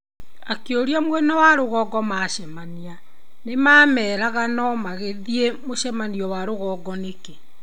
Akĩũria mwena wa rũgongo macemania nĩmamerega no mangĩthiĩ mũcemanio wa rũgongo nĩkĩ.